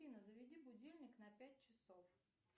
афина заведи будильник на пять часов